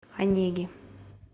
онеги